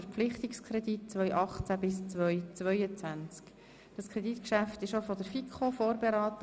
Auch dieses Kreditgeschäft wurde von der FiKo vorberaten.